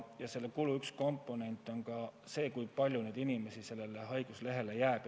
Ja selle kulu üks komponent on ka see, kui palju inimesi jääb haiguslehele.